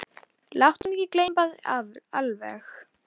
Láttu hann ekki gleypa þig alveg!